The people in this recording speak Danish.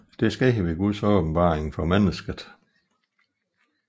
Det sker ved Guds åbenbaring for mennesket